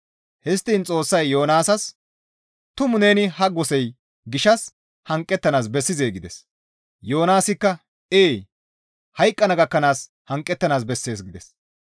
Histtiin Xoossay Yoonaasas, «Tumu neni ha gosey gishshas hanqettanaas bessizee?» gides. Yoonaasikka, «Ee! Hayqqana gakkanaas hanqettanaas taas bessees» gides.